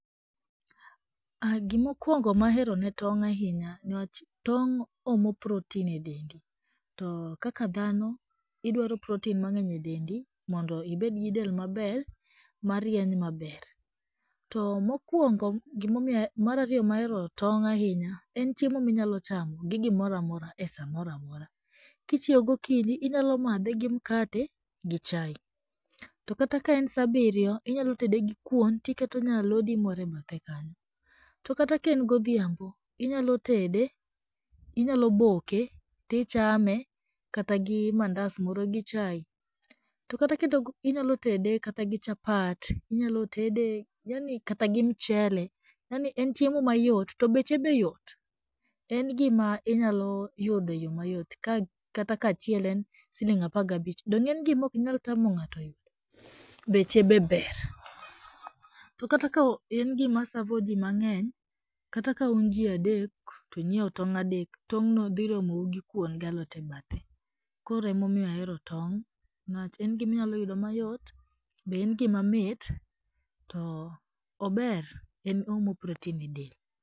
Gima okuongo ma ahero ne tong' ahinya newach tong' omo proten edendi to kaka dhano idwaro proten mang'eny e dendi modo ibed gi del maber marieny maber. To mokuongo gimaomiyo mar ariyo momiyo ahero tong' ahinya en chiem,o ma inyalo chamo gi gimoro amora esa moro amora. Kichiew gokinyi inyalo madhe gi makate gi chae, to kata ka en saa abiriy, inyalo tede gi kuon to iketo nyalodi moro e bathe kanyo. To kata ka en godhiambo inyalo boke to ixhame kata gi mandas moro gi chae to kata ka inyalo tede kata gi chapat, inyalo tede yani kata gi michele, yani en chiemo mayot to beche be yot. En gima inyalo yudo eyo mayot kata ka achiel en siling' apar gi abich donge inge nigima ok tamo ng'ato yudo to beche be ber. To kata ka en gima savoji mang'eny, kata kaun ji adek to inyiewo tong' adek, tong' no dhi romou gi kuon kod alot e bathe. Koro ema omiyo ahero tong' niwach en gima inyalo yudo mayot, ober oomo proten edel.